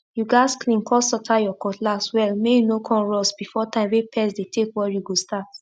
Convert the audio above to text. you gats clean con sotre your cutlass well may e no con rust before time wey pest take dey worry go start